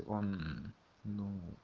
он нуу